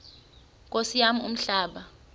nkosi yam umhlaba